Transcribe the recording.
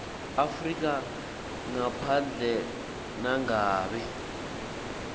afrika ngaphandle nangabe